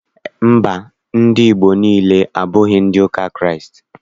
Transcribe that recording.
Mba, ndị Igbo niile, abụghị ndị ụka Kraịst.